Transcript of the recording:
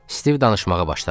Stiv danışmağa başladı.